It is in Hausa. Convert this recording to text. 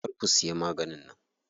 Kar ku siya maganin nan.